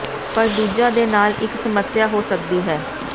ਪਰ ਦੂਜਾ ਦੇ ਨਾਲ ਇੱਕ ਸਮੱਸਿਆ ਹੋ ਸਕਦੀ ਹੈ